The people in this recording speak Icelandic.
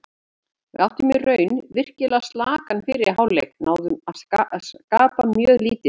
Við áttum í raun virkilega slakan fyrri hálfleik, náðum að skapa mjög lítið.